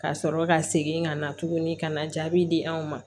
Ka sɔrɔ ka segin ka na tuguni ka na jaabi di anw ma